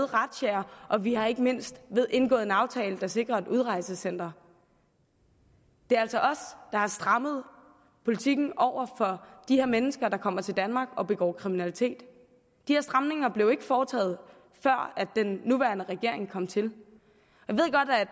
razziaer og vi har ikke mindst indgået en aftale der sikrer oprettelse af udrejsecentre det er altså os der har strammet politikken over for de mennesker der kommer til danmark og begår kriminalitet de her stramninger blev ikke foretaget før den nuværende regering kom til jeg